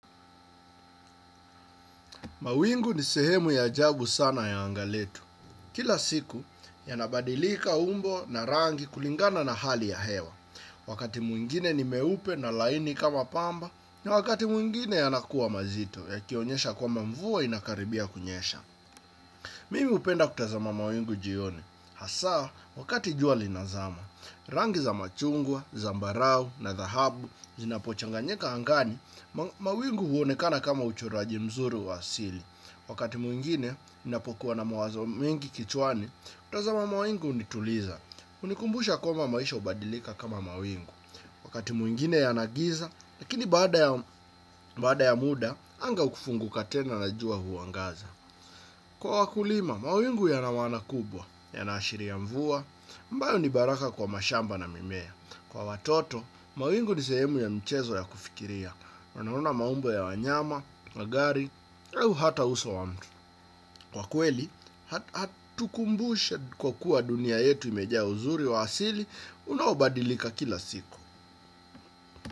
Mawingu ni sehemu ya ajabu sana ya anga letu. Kila siku, ya nabadilika umbo na rangi kulingana na hali ya hewa. Wakati mwingine ni meupe na laini kama pamba, na wakati mwingine yanakuwa mazito, yakionyesha kwamba mvua inakaribia kunyesha. Mimi upenda kutazama mawingu jioni. Hasaa, wakati jua linazama, rangi za machungwa, zambarau, na dhahabu, zinapochanganyeka angani, mawingu huonekana kama uchoraji mzuri wa asili. Wakati mwingine, unapokuwa na mawazo mengi kichwani, kutazama mawingu unituliza. Unikumbusha kwamba maisha ubadilika kama mawingu. Wakati mwingine yanagiza, lakini baada ya muda, anga ukufunguka tena na jua huangaza. Kwa wakulima, mawingu yanamaana kubwa, yanaashiria mvua, ambayo ni baraka kwa mashamba na mimea. Kwa watoto, mawingu ni sehemu ya mchezo ya kufikiria. Wanaona maumbo ya wanyama, wa gari, au hata uso wa mtu. Kwa kweli, hatukumbushe kwa kuwa dunia yetu imejea uzuri wa asili, unaobadilika kila siku.